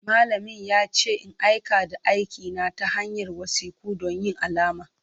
Malamin ya ce in aika da aikina ta hanyar wasiku don yin alama.